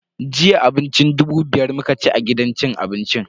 Jiya abincin dubu biya muka ci a gidan cin abincin.